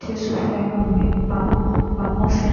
jésùfẹ́ránmi pamọ́ pamọ́ sí